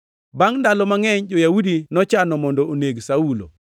Bangʼ ndalo mangʼeny, jo-Yahudi nochano mondo oneg Saulo,